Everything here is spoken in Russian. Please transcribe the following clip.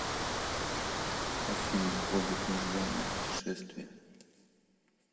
афина хоббит нежданное путешествие